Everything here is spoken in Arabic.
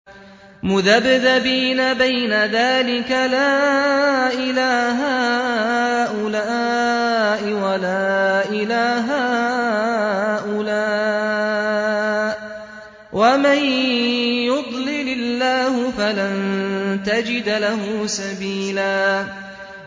مُّذَبْذَبِينَ بَيْنَ ذَٰلِكَ لَا إِلَىٰ هَٰؤُلَاءِ وَلَا إِلَىٰ هَٰؤُلَاءِ ۚ وَمَن يُضْلِلِ اللَّهُ فَلَن تَجِدَ لَهُ سَبِيلًا